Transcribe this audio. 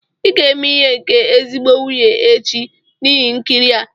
Ị ga-eme ihe nke ezigbo nwunye echi n'ihe nkiri a!